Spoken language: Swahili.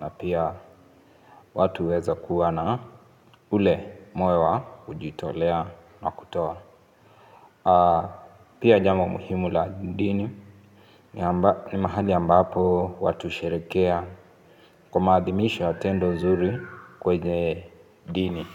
na pia watu uweza kuwa na ule moyo wa kujitolea na kutoa. Pia jambo muhimu la dini, ni mahali ambapo watu sherekea kwa maadhimisho ya tendo zuri kwenye dini.